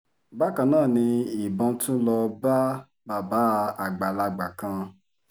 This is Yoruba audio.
bákan náà ni ìbọn tún lọ́ọ́ bá bàbá àgbàlagbà kan